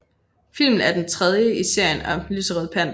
Filmen er den tredje i serien om Den lyserøde panter